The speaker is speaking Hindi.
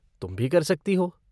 तुम भी कर सकती हो।